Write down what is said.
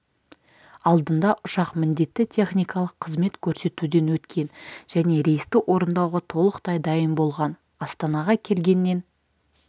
алдында ұшақ міндетті техникалық қызмет көрсетуден өткен және рейсті орындауға толықтай дайын болған астанаға келгеннен